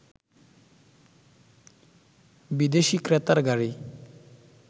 বিদেশি ক্রেতার গাড়ি